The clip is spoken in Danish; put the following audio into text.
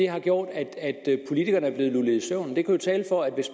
har gjort at politikerne er blevet lullet i søvn der kunne tale for at